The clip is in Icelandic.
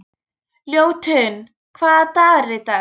Ljótunn, hvaða dagur er í dag?